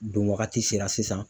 Don wagati sera sisan.